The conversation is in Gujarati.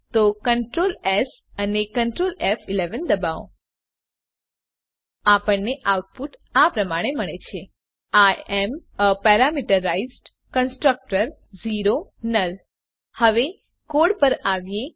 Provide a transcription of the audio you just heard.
તો CtrlS અને Ctrl ફ11 દબાવો આપણને આઉટપુટ આ પ્રમાણે મળે છે I am a parameterized constructor null હવે કોડ પર આવીએ